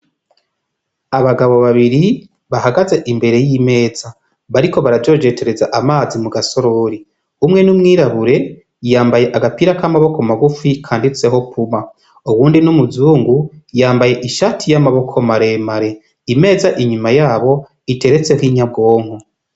Abagabo babiri bahagaze imbere y'imeza bariko barajojetereza amazi mu gasorori umwe n'umwirabure iyambaye agapira k'amaboko magufi kanditseho puma uwundi n'umuzungu yambaye ishati y'amaboko maremare imeza inyuma yabo iteretseho inyabwonko.